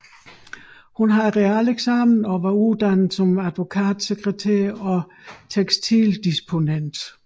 Hun havde realeksamen og var uddannet som advokatsekretær og tekstildisponent